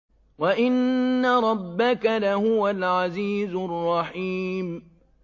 وَإِنَّ رَبَّكَ لَهُوَ الْعَزِيزُ الرَّحِيمُ